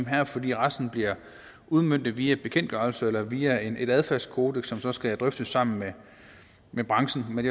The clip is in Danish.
her fordi resten bliver udmøntet via bekendtgørelser eller via et adfærdskodeks som så skal drøftes sammen med branchen men